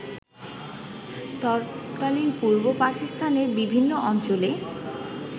তৎকালীন পূর্ব পাকিস্তানের বিভিন্ন অঞ্চলে